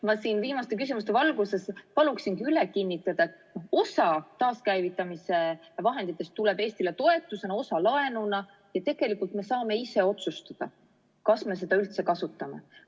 Ma siin viimaste küsimuste valguses paluksin üle kinnitada, et osa taaskäivitamise vahenditest tuleb Eestile toetusena, osa laenuna ja tegelikult me saame ise otsustada, kas me seda üldse kasutame.